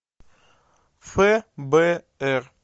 фбр